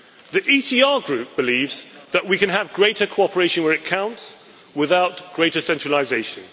The ECR Group believes that we can have greater cooperation where it counts without greater centralisation.